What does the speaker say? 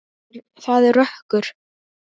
Það er rökkur.